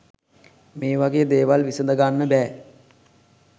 මේ වගේ දේවල් විසඳගන්න බෑ.